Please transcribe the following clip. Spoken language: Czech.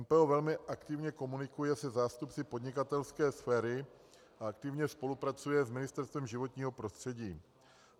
MPO velmi aktivně komunikuje se zástupci podnikatelské sféry a aktivně spolupracuje s Ministerstvem životního prostředí.